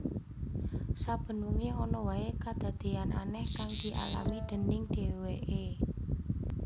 Saben wengi ana wae kadadeyan aneh kang dialami déning dheweke